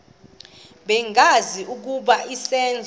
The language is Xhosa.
bengazi ukuba izenzo